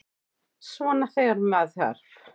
Svona þegar með þarf.